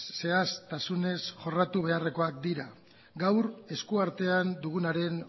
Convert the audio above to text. zehaztasunez jorratu beharrekoak dira gaur eskuartean dugunaren